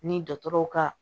Ni dɔgɔtɔrɔw ka